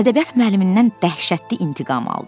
Ədəbiyyat müəllimindən dəhşətli intiqam aldı.